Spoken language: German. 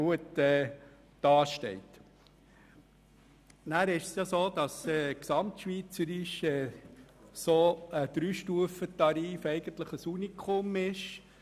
Zudem ist gesamtschweizerisch gesehen ein Dreistufentarif eigentlich ein Unikum.